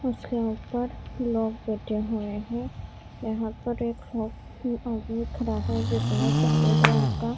उसके ऊपर लोग बेठे हुए है यहाँ पर एक आ आदमी खड़ा है जिसने सफ़ेद रंग का --